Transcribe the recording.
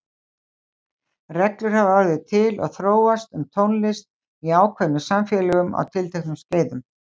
Reglur hafa orðið til og þróast um tónlist í ákveðnum samfélögum á tilteknum skeiðum.